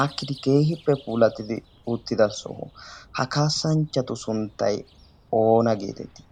aakkidi keehippe pulatidi uttida sohoy ha kaassanchchatu sunttay oona geetettii?